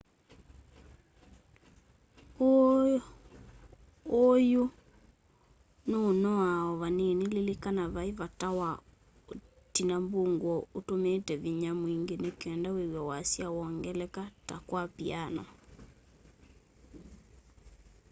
uu yu nûûnoa o vanini. lilikana vai vata wa utina mbunguo utumiite vinya mwingi nikenda wîw'e wasya wongeleka ta kwa piano